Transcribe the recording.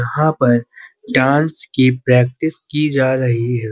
यहाँ पर डांस के प्रैक्टिस की जा रही है।